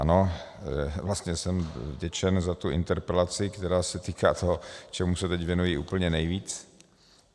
Ano, vlastně jsem vděčen za tu interpelaci, která se týká toho, čemu se teď věnuji úplně nejvíc.